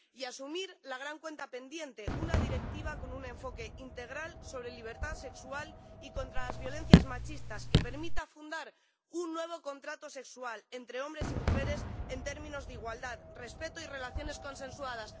y a asumir la gran cuenta pendiente una Directiva con un enfoque integral sobre libertad sexual y contra la violencia machista, que permita fundar un nuevo contrato sexual entre hombres y mujeres en términos de igualdad, respeto y relaciones consensuadas.